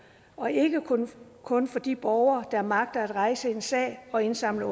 og ikke kun for de borgere der magter at rejse en sag og indsamle